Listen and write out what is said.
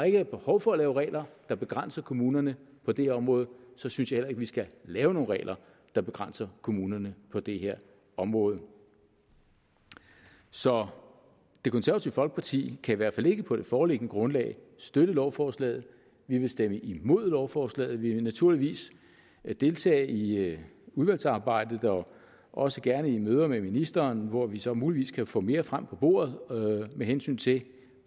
ikke er behov for at lave regler der begrænser kommunerne på det her område så synes jeg vi skal lave nogen regler der begrænser kommunerne på det her område så det konservative folkeparti kan i hvert fald ikke på det foreliggende grundlag støtte lovforslaget vi vil stemme imod lovforslaget vi vil naturligvis deltage i udvalgsarbejdet og også gerne i møder med ministeren hvor vi så muligvis kan få mere frem på bordet med hensyn til